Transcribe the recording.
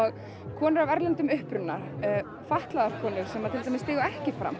konur af erlendum uppruna fatlaðar konur sem til dæmis stigu ekki fram